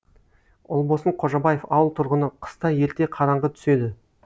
ұлбосын қожабаев ауыл тұрғыны қыста ерте қараңғы түседі